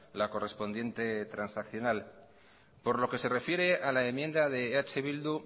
la correspondiente transaccional por lo que se refiere a la enmienda de eh bildu